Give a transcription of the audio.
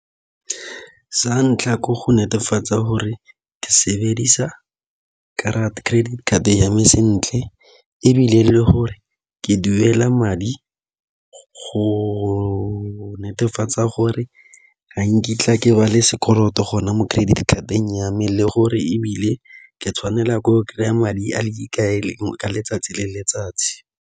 Sa ntlha ke go netefatsa gore ke sebedisa credit card yame sentle, ebile le gore ke duela madi go netefatsa gore ga nkitla ke ba le sekoloto gona mo credit card-eng ya me. Le gore ebile ke tshwanela ke go kry-a madi a le ka letsatsi le letsatsi.